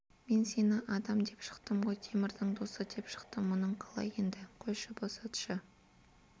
мен сені адам деп шықтым ғой темірдің досы деп шықтым мұның қалай енді қойшы босатшы